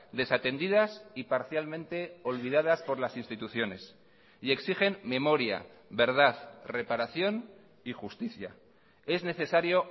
desatendidas y parcialmente olvidadas por las instituciones y exigen memoria verdad reparación y justicia es necesario